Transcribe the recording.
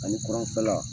Ani kɔrɔnfɛla